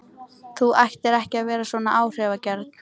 Þú ættir ekki að vera svona áhrifagjörn